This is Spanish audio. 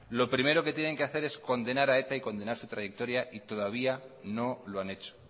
lo primero que tienen que hacer es condenar a eta y condenar su trayectoria y todavía no lo han hecho